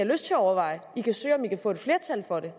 lyst til at overveje de kan se om de kan få et flertal for det